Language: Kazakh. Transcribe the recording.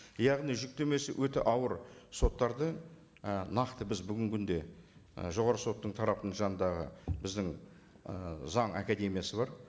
яғни жүктемесі өте ауыр соттарды і нақты біз бүгінгі күнде і жоғарғы соттың тарапының жанындағы біздің ы заң академиясы бар